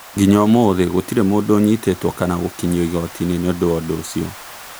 Nginya ũmuthi gũtirĩ mũndũ ũnyitetwo kana gũkinyio igotinĩ nĩundũ wa ũndu ũcio